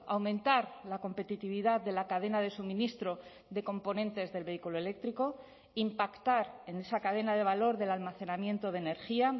aumentar la competitividad de la cadena de suministro de componentes del vehículo eléctrico impactar en esa cadena de valor del almacenamiento de energía